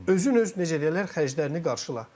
Özün öz necə deyərlər, xərclərini qarşıla.